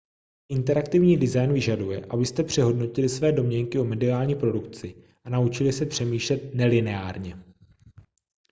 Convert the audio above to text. interaktivní design vyžaduje abyste přehodnotili své domněnky o mediální produkci a naučili se přemýšlet nelineárně